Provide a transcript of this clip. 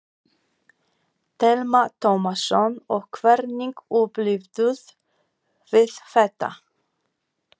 Telma Tómasson: Og hvernig upplifðuð þið þetta?